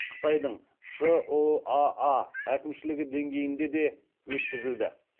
қытайдың шұаа әкімшілігі деңгейінде де өткізілді